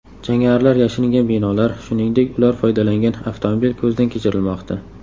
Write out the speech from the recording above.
Jangarilar yashiringan binolar, shuningdek, ular foydalangan avtomobil ko‘zdan kechirilmoqda.